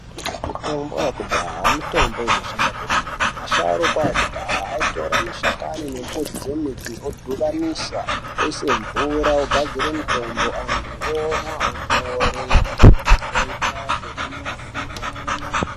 Mitombo yakudhaya mitombo inoshanda kwemene asharuka akudhaya aitora mashakani nemudzi dzemiti odhibanisa oisa mvura ogadzire mitombo anthu omwa opore.